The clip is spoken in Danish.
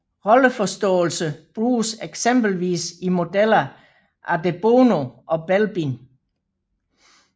Rolleforståelse bruges eksempelvis i modeller af de Bono og Belbin